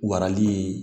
Warali